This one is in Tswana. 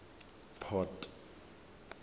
port